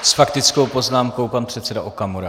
S faktickou poznámkou pan předseda Okamura.